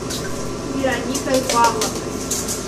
вероникой павловной